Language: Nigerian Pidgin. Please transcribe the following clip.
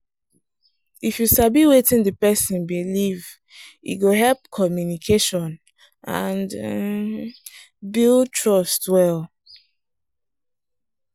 if you sabi wetin the person believe e go help communication and build trust well.